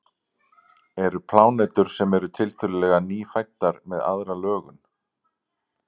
eru plánetur sem eru tiltölulega „nýfæddar“ með aðra lögun